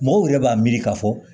Mɔgɔw yɛrɛ b'a miiri k'a fɔ